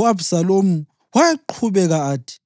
U-Abhisalomu wayeqhubeka athi,